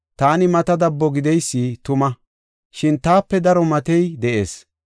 Taani mata dabbo gideysi tuma; shin taape daro matey de7ees.